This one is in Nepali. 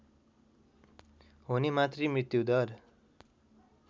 हुने मातृ मृत्युदर